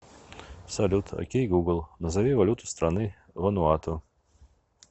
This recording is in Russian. салют окей гугл назови валюту страны вануату